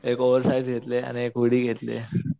एक oversize घेतला आणि एक हुडी घेतलीये